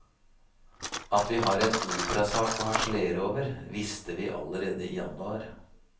At vi har en operasak å harselere over, visste vi allerede i januar.